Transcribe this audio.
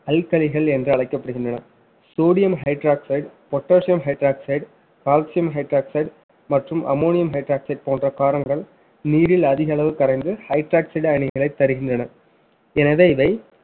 என்று அழைக்கப்படுகின்றன sodium hydroxide, potassium hydroxide, calcium hydroxide மற்றும் ammonium hydroxide போன்ற காரங்கள் நீரில் அதிக அளவு கரைந்து hydroxide அயனிகளைத் தருகின்றன எனவே இவை